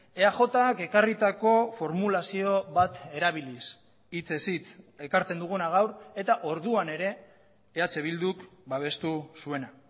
eajk ekarritako formulazio bat erabiliz hitzez hitz ekartzen duguna gaur eta orduan ere eh bilduk babestu zuena